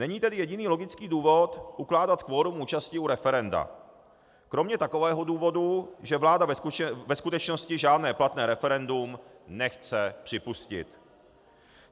Není tedy jediný logický důvod ukládat kvorum účasti u referenda kromě takového důvodu, že vláda ve skutečnosti žádné platné referendum nechce připustit.